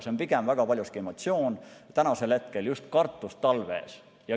See on pigem väga paljuski emotsioon hetkel, just kartus talve ees.